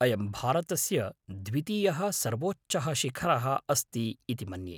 अयं भारतस्य द्वितीयः सर्वोच्चः शिखरः अस्ति इति मन्ये।